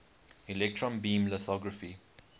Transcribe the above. electron beam lithography